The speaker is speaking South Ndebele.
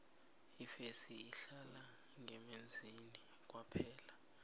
ifesi ihlala ngemanzini kwaphela